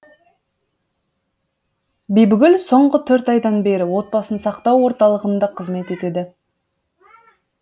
бибігүл соңғы төрт айдан бері отбасын сақтау орталығында қызмет етеді